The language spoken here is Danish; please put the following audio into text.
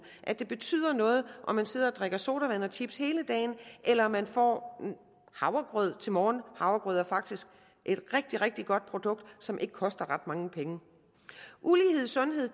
at det betyder noget om man sidder og drikker sodavand og spiser chips hele dagen eller om man får havregrød til morgenmad havregrød er faktisk et rigtig rigtig godt produkt som ikke koster ret mange penge ulighed i sundhed